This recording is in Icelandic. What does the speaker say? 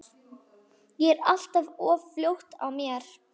Ég er alltaf of fljót á mér.